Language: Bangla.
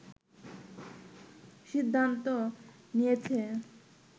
সিদ্ধান্ত নিয়েছে